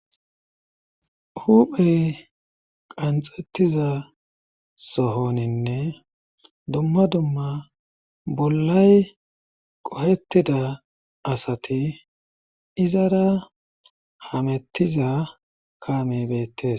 Huphey qanxettiza sohoninne dumma dumma bollay qohettida asati izara hamettiza kame beettes